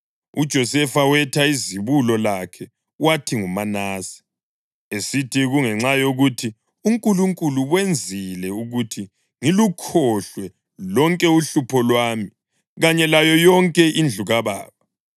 UJosefa wetha izibulo lakhe wathi nguManase, esithi, “Kungenxa yokuthi uNkulunkulu wenzile ukuthi ngilukhohlwe lonke uhlupho lwami kanye layo yonke indlu kababa.”